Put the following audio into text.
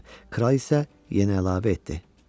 Kral isə yenə əlavə etdi.